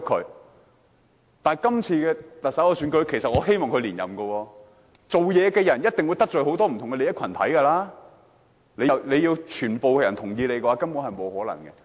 但是，對於今次特首選舉，其實我希望梁振英連任，因為做事的人一定會得罪很多不同利益群體，要獲得全部人認同，根本不可能。